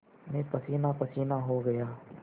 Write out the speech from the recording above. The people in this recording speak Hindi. मैं पसीनापसीना हो गया